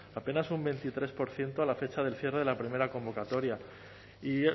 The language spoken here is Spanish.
apenas un veintitrés por ciento a la fecha del cierre de la primera convocatoria y